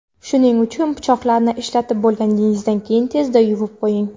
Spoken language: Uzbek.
Shuning uchun pichoqlarni ishlatib bo‘lganingizdan keyin tezda yuvib qo‘ying.